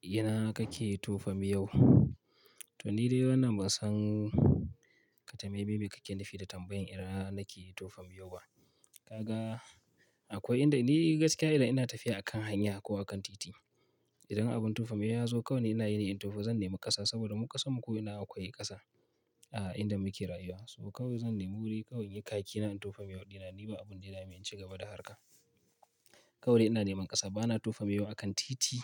Ina kake tofa miyau? To ni dai wannan ban san ƙatameme me kake nufi da tambayan ina nake tofa miyau ba. Kaga akwai inda ni gaskiya idan ina tafiya a kan hanya ko a kan titi, idan abin tofa miyau ya zo kawai ni ina yine tofa zan nemi ƙasa saboda mu ƙasan mu ko ina akwai ƙasa. A'a, inda muke rayuwa. So kawai zan nemi wuri, kawai in yi kakina in tofa miyau ɗina. Ni ba abun da ya damen in ci gaba da harka. Kawai ina neman ƙasa. Bana tofa miyau a kan titi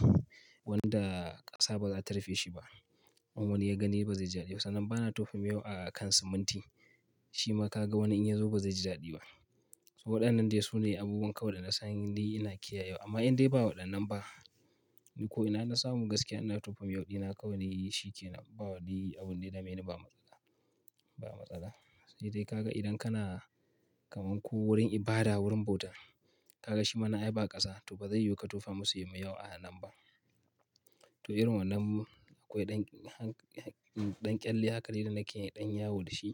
wanda ƙasa ba za ta rufe shi ba. In wani ya gani ba zai ji dadi ba. Sannan bana tofa miyau a kan siminti. Shi ma ka ga wani in ya zo ba zai ji dadi ba. So waɗannan dai su ne abubuwan kawai da na san ni ina kiyaye wa. Amma in dai ba waɗannan ba, ni ko ina na samu gaskiya ina tofa miyau ɗina kawai ni shi ke nan, ba wani abun da yadameni ba matsala. Ba matsala. Sai dai ka ga idan kana kaman ko wurin ibada, wurin bauta, ka ga shi mana nan ai ba ƙasa, to ba zai yiwu ka tofa masu yin miyau a nan ba. To irin wannan akwai ɗan ƙyalle haka dai da nake yi ɗan yawo da shi.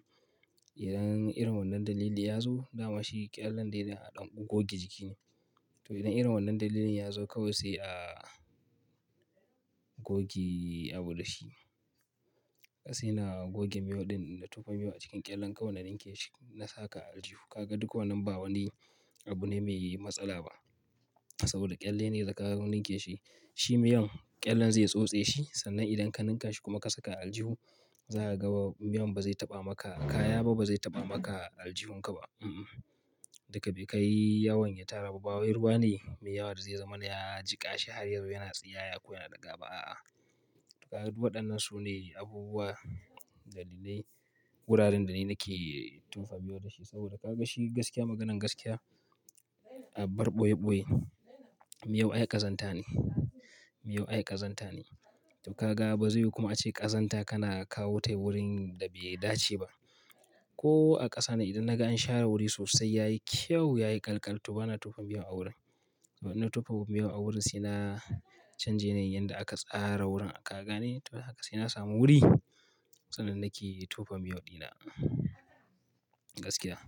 Idan irin wannan dalili ya zo, dama shi ƙyallen dai na ɗan goge jiki ne. To idan irin wannan dalilin ya zo kawai sai a goge abu da shi. Sai na goge miyau ɗin da na tofa miyau a cikin ƙyallen, kawai na ninke shi na saka a aljihu. Ka ga duk wannan ba wani abu ne mai yi matsala ba saboda ƙyalle ne da ka ninke shi. Shi miyan ƙyallen zai tsotse shi. Sannan idan ka ninka shi kuma ka saka a aljihu, za ka ga miyan ba zai taɓa maka kaya ba, ba zai taɓa maka aljihunka ba. Mm-mm. Duka bai kai yawan ya tara ba. Ba wai ruwa ne, mai yawa da zai zamana ya jiƙa shi har ya zo yana tsiyaya ko yana ɗiga ba, a'a. Du waɗannan su ne abubuwa, dalilai, guraren da ni nake tofa miyau da shi. Saboda ka ga shi gaskiya maganan gaskiya, a bar ɓoye-ɓoye, miyau ai ƙazanta ne. Miyau ai ƙazanta ne. To ka ga, ba zai yiwu kuma ace ƙazanta kana kawo ta wurin da bai dace ba. Ko a ƙasa ne idan na ga an share wuri sosai ya yi kyau, ya yi ƙalƙal, to bana tofa miyau a wurin. Wannan tofa miyau a wurin sai na canje yanayin yanda aka tsara wurin Ka gane? To haka sai na samu wuri, sannan nake tofa miyau ɗina, gaskiya.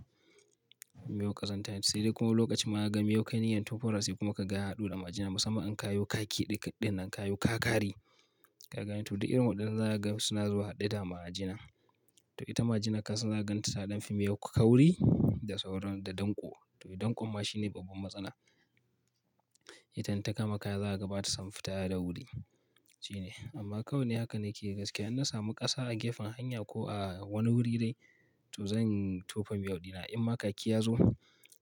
Miyau ƙazanta ne. Sai dai kuma lokacin ma ka ga miyau kai niyyar tofar wa sai kuma ka ga haɗo da majina. Musamman in kayo kaki ɗik, ɗinnan kayo kakari. Ka gane? To du irin waɗannan za ka ga suna zuwa haɗe da majina. To ita majina ka san za ka gan ta ta ɗan fi miyau kauri, da sauran da danƙo. To danƙon ma shine babban matsala. Itan inta kama kaya za ka ga ba ta son fita da wuri. Shine. Amma kawai ni haka nake gaskiya. In na samu ƙasa a gefen hanya ko a wani wuri dai, to zan tofa miyau ɗina. In ma kaki ya zo,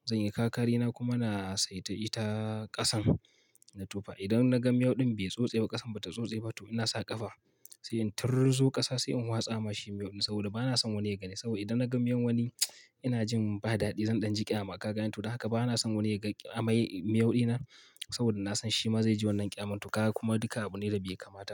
zan yi kakari na kuma na saita ita, ƙasan na tofa idan na ga miyau ɗin bai tsotse ba, ƙasan ba ta tsotse ba, to ina sa ƙafa. Sai in tirrzo ƙasa sai in watsa ma shi miyau ɗin, saboda bana son wani ya gani. Saboda idan na ga miyan wani, ina jin ba daɗi, Zan ɗan ji ƙyama. Ka gane? To da haka bana son wani ya ga, amai, miyau ɗina, saboda na san shi ma zai ji wannan ƙyamar. To ka ga kuma duka abu ne da bai kamata ba.